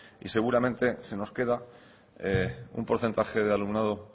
y seguramente se nos queda un porcentaje de alumnado